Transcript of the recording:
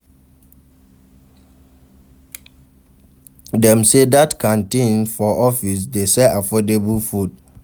Dem sey dat canteen for office dey sell affordable food.